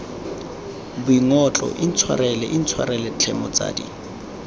boingotlo intshwarele intshwarele tlhe motsadi